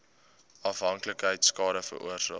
afhanklikheid skade veroorsaak